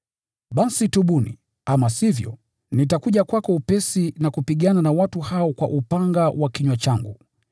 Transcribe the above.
Basi tubu! Ama sivyo, nitakuja kwako upesi na kupigana na watu hao kwa upanga wa kinywa changu.